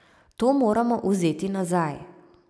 To moramo vzeti nazaj.